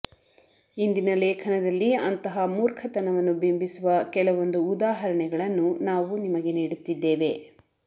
ಇಂದಿನ ಲೇಖನದಲ್ಲಿ ಅಂತಹ ಮೂರ್ಖತನವನ್ನು ಬಿಂಬಿಸುವ ಕೆಲವೊಂದು ಉದಾಹರಣೆಗಳನ್ನು ನಾವು ನಿಮಗೆ ನೀಡುತ್ತಿದ್ದೇವೆ